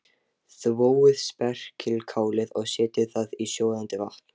Þvoið spergilkálið og setjið það í sjóðandi vatn.